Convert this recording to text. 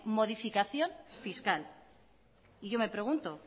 modificación fiscal y yo me pregunto